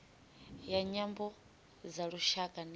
ya nyambo dza lushaka national